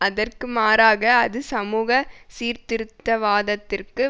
அதற்கு மாறாக அது சமூக சீர்திருத்தவாதத்திற்கு